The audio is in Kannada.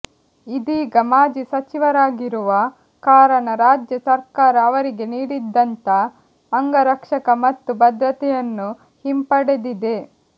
ಇದೀಗ ಮಾಜಿ ಸಚಿವರಾಗಿರುವ ಕಾರಣ ರಾಜ್ಯ ಸರ್ಕಾರ ಅವರಿಗೆ ನೀಡಿದ್ದಂತ ಅಂಗರಕ್ಷಕ ಮತ್ತು ಭದ್ರತೆಯನ್ನು ಹಿಂಪಡೆದಿದೆ